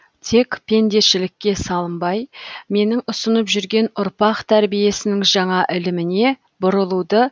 тек пендешілікке салынбай менің ұсынып жүрген ұрпақ тәрбиесінің жаңа іліміне бұрылуды